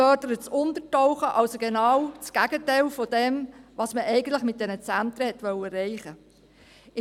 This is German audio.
Man fördert das Untertauchen, also genau das Gegenteil dessen, was man mit diesen Zentren eigentlich erreichen wollte.